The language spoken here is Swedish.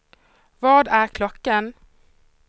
Vad är klockan